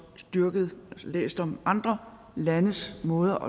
læst om andre landes måde